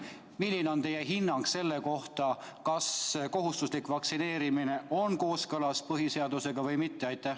Milline on teie hinnang, kas kohustuslik vaktsineerimine on kooskõlas põhiseadusega või mitte?